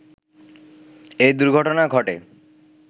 এই দুর্ঘটনা ঘটে